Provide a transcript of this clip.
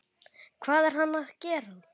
Hvað er hann að gera?